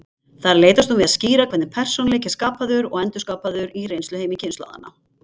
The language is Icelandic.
Þar leitast hún við að skýra hvernig persónuleiki er skapaður og endurskapaður í reynsluheimi kynslóðanna.